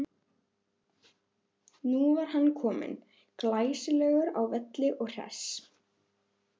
Nú var hann kominn, glæsilegur á velli og hress.